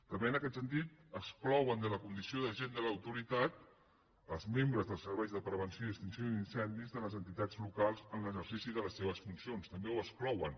també en aquest sentit exclouen de la condició d’agent de l’autoritat els membres dels serveis de pre·venció i extinció d’incendis de les entitats locals en l’exercici de les seves funcions també ho exclouen